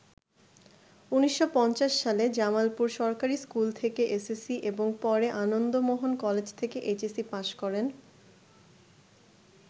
১৯৫০ সালে জামালপুর সরকারি স্কুল থেকে এসএসসি এবং পরে আনন্দমোহন কলেজ থেকে এইচএসসি পাশ করেন।